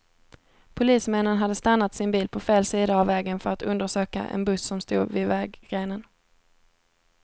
Polismännen hade stannat sin bil på fel sida vägen för att undersöka en buss som stod vid vägrenen.